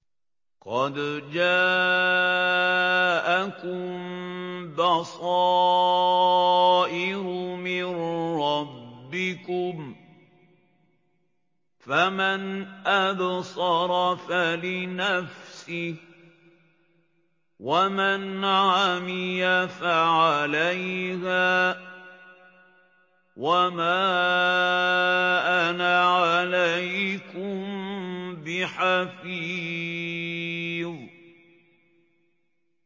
قَدْ جَاءَكُم بَصَائِرُ مِن رَّبِّكُمْ ۖ فَمَنْ أَبْصَرَ فَلِنَفْسِهِ ۖ وَمَنْ عَمِيَ فَعَلَيْهَا ۚ وَمَا أَنَا عَلَيْكُم بِحَفِيظٍ